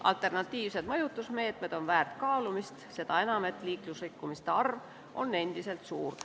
Alternatiivsed mõjutusmeetmed on väärt kaalumist, seda enam, et liiklusrikkumiste arv on endiselt suur.